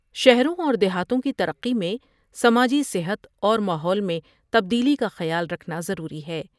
شہروں اور دیہاتوں کی ترقی میں سماجی صحت اور ماحول میں تبدیلی کا خیال رکھنا ضروری ہے ۔